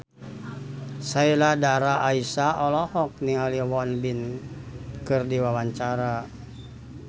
Sheila Dara Aisha olohok ningali Won Bin keur diwawancara